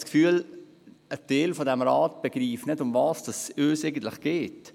Mich dünkt, ein Teil des Rates begreife nicht, worum es uns eigentlich geht.